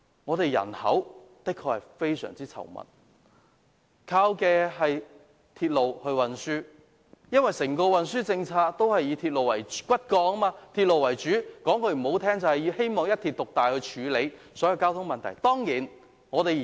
香港人口非常稠密，大部分人都依靠鐵路運輸，而香港的整體運輸政策以鐵路為骨幹，說得難聽一點，政府希望以一鐵獨大來處理所有交通問題。